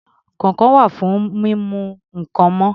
Kọ̀ǹkọ̀ wà fún mímú nǹkan mọ́